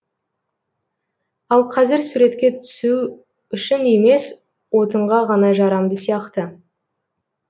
ал қазір суретке түсу үшін емес отынға ғана жарамды сияқты